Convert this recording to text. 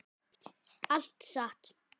Allt satt.